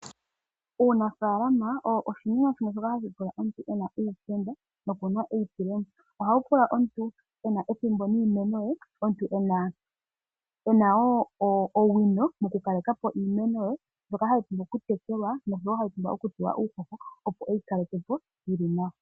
Uunafaalama owo oshinima shimwe shoka hashi pula omuntu e na uupenda nokuna eyitulemo. Ohawu pula omuntu e na ethimbo niimeno ye, omuntu e na wo owino mokukaleka po iimeno ye mbyoka hayi pumbwa okutekelwa nosho wo hayi pumbwa okupewa uuhoho opo e yi kaleke po yili nawa.